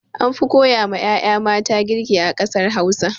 Anfi koya ma 'ya'ya mata girki a ƙasar Hausa.